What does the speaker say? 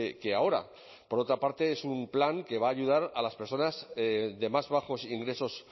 que ahora por otra parte es un plan que va a ayudar a las personas de más bajos ingresos